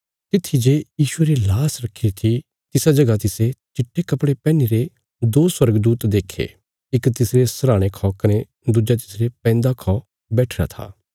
तित्थी जे यीशुये री लाश रखीरी थी तिसा जगह तिसे चिट्टे कपड़े पैहनीरे दो स्वर्गदूत देखे इक तिसरे सरहाणे खौ कने दुज्जा तिसरे पैंदा खौ बैठिरा था